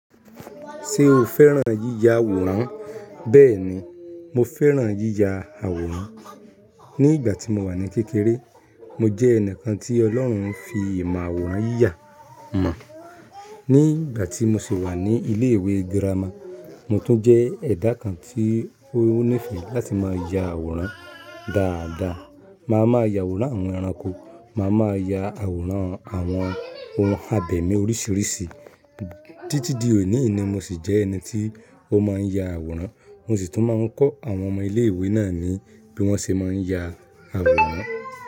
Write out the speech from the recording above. Ṣé o fẹ́ràn yíya àwòrán? Bẹ́ẹ̀ni, mo fẹ́ràn yíya àwòrán. Ni ìgbà tí mo wà ní kékeré, mo jẹ́ ẹnìkan tí Ọlọ́run fi ìmọ̀ àwòrán yíya mọ̀. Ni ìgbà tí mo sì wà ní ilé ìwé girama, mo tún jẹ́ ẹ̀dá kan tí ó níìfẹ̀ẹ́ láti máa ya àwòrán dáadáa. Máa ma ya àwòrán àwọn ẹranko, màá ma ya àwòrán àwọn ohun abẹmi oríṣiríṣi. Títí di òní ni mo sì jẹ́ ẹni tí ó máa ń ya àwòrán, mo sì tún máa ń kọ́ àwọn ọmọ ilé ìwé náà ní bí wọ́n ṣe máa ń ya àwòrán.